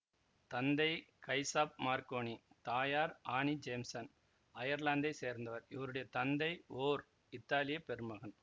தந்தை Giuseppe Marconi தயார் Annie ஜேம்சன்அயர்லாந்தைச் சேர்ந்தவர்இவருடைய தந்தை ஓர் இத்தாலிய பெருமகன்